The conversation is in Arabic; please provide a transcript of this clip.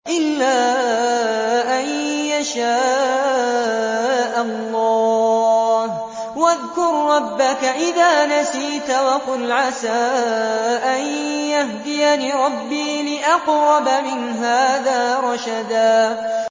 إِلَّا أَن يَشَاءَ اللَّهُ ۚ وَاذْكُر رَّبَّكَ إِذَا نَسِيتَ وَقُلْ عَسَىٰ أَن يَهْدِيَنِ رَبِّي لِأَقْرَبَ مِنْ هَٰذَا رَشَدًا